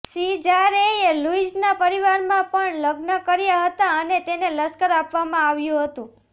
સિઝારેએ લુઇસના પરિવારમાં પણ લગ્ન કર્યા હતા અને તેને લશ્કર આપવામાં આવ્યું હતું